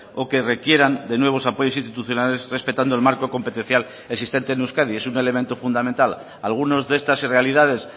o que requieran de nuevos apoyos institucionales respetando el marco competencial existente en euskadi es un elemento fundamental algunas de estas realidades